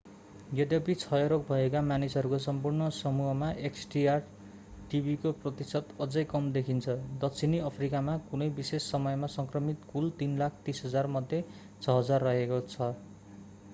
यद्यपि क्षयरोग भएका मानिसहरूको सम्पूर्ण समूहमा xdr-tb को प्रतिशत अझै कम देखिन्छ दक्षिण अफ्रिकामा कुनै विशेष समयमा संक्रमित कुल 330,000मध्ये 6,000 रहेको छ